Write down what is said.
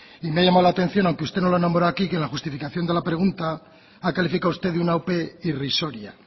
y me ha llamado la atención aunque usted no lo ha nombrado aquí que en la justificación de la pregunta ha calificado usted de una ope irrisoria